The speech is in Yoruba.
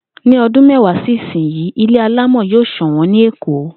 Ní o̩dún méwàá sí ìsinyìí, ilé alámò̩ yóò sò̩wó̩n ní Èkó